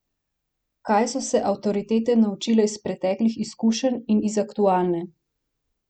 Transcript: Kaj so se avtoritete naučile iz preteklih izkušenj in iz aktualne?